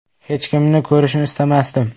Hech kimni ko‘rishni istamasdim.